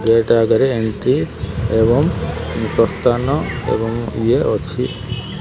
ଗେଟେ ଆଗରେ ଏମିତି ଏବଂ ପ୍ରସ୍ତାନ ଏବଂ ଇଏ ଅଛି।